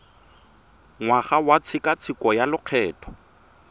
ngwaga wa tshekatsheko ya lokgetho